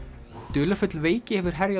dularfull veiki hefur herjað